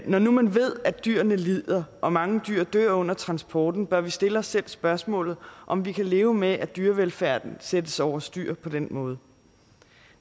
når nu man ved at dyrene lider og at mange dyr dør under transporten bør vi stille os selv spørgsmålet om vi kan leve med at dyrevelfærden sættes over styr på den måde